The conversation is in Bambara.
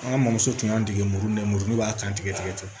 An ka mɔmuso tun y'an dege muru nɛmunu b'a kan tigɛ tigɛ